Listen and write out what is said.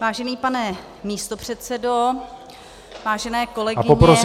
Vážený pane místopředsedo, vážené kolegyně, kolegové -